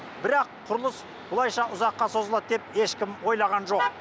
бірақ құрылыс былайша ұзаққа созылады деп ешкім ойлаған жоқ